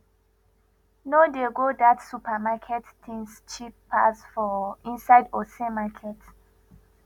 no dey go that supermarket things cheap pass for inside ose market